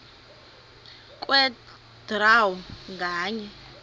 kwe draw nganye